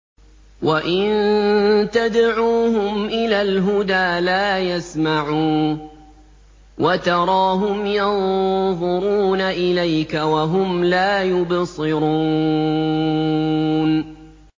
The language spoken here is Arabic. وَإِن تَدْعُوهُمْ إِلَى الْهُدَىٰ لَا يَسْمَعُوا ۖ وَتَرَاهُمْ يَنظُرُونَ إِلَيْكَ وَهُمْ لَا يُبْصِرُونَ